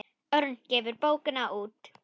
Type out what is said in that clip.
Örn gefur bókina út.